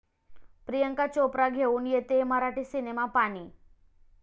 प्रियांका चोप्रा घेऊन येतेय मराठी सिनेमा 'पाणी'